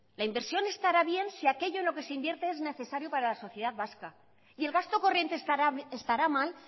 la inversión estará bien si aquello en lo que se invierte es necesario para la sociedad vasca y el gasto corriente estará mal